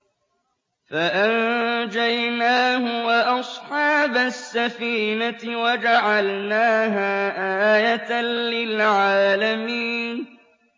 فَأَنجَيْنَاهُ وَأَصْحَابَ السَّفِينَةِ وَجَعَلْنَاهَا آيَةً لِّلْعَالَمِينَ